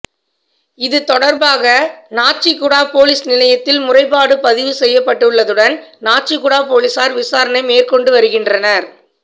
இது தொடர்பாக நாச்சிக்குடா பொலிஸ் நிலையத்தில் முறைப்பாடு பதிவு செய்யப்பட்டுள்ளதுடன் நாச்சிக்குடா பொலிசார் விசாரணை மேற்கொண்டு வருகின்றனர்